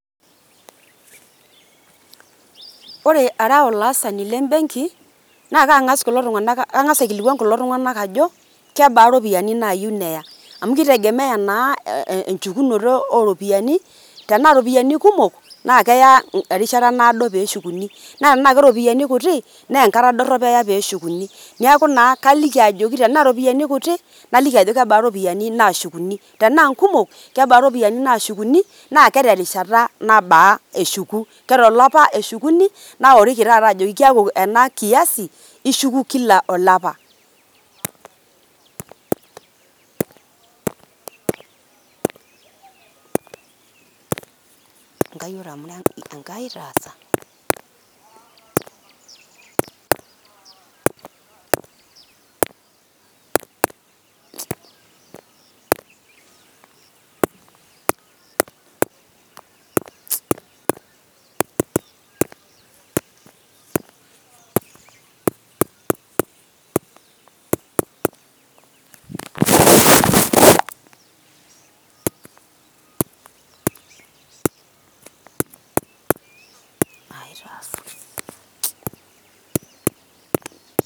ore ara olaasani len Benki naa kangas kulo tunganak ,kangas ailkilkwan kulo tunganak ajo kebaa iropiyiani nayieu neya amu kitegemea naa enchukunoto oo ropiyiani .tenaa iropiyiani kumok naa keya erishata naado peshukuni, naa tenaa keropiyiani kuti naa enkata dorop eya peshukuni niaku naa kaliki ajoki tenaa keropiyiani kutik naliki ajoki kebaa iropiyiani nashukuni ,tenaa nkumok kebaa iropiyiani nashukuni naaa keterishata nabaa eshuku.ke tolapa eshukuni naoriki taata ajoki keak ena kiasi ishku kila olapa.